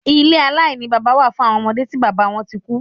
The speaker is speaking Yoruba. Ilé aláìní bábá wà fún awọn ọmọde tí bábá wọn tí kú.